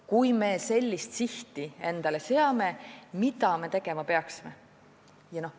Kui me sellise sihi endale seame, siis mida me tegema peaksime?